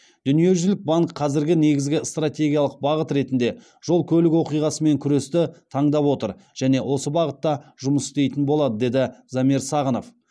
дүниежүзілік банк қазіргі негізгі стратегиялық бағыт ретінде жол көлік оқиғасымен күресті таңдап отыр және осы бағытта жұмыс істейтін болады деді замир сағынов